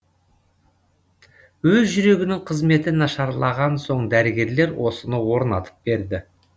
өз жүрегінің қызметі нашарлаған соң дәрігерлер осыны орнатып берді